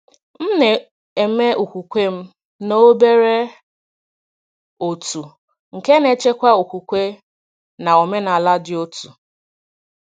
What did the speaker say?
M na-eme okwukwe m na obere òtù nke na-echekwa okwukwe na omenala dị otu.